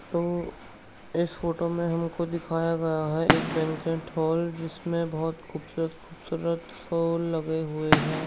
तो इस फोटो में हमको दिखाया गया है एक बैंक्वेट हॉल जिसमें बहोत खुबसूरत-खुबसूरत फूल लगे हुए हैं।